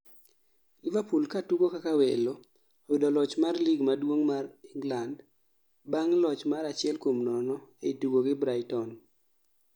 Liverpool katugo kaka welo uyodo loch mar lig maduong' mar England bang' loch mar 0-1 ei tugo gi Brighton